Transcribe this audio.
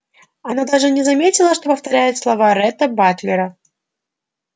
она даже не заметила что повторяет слова ретта батлера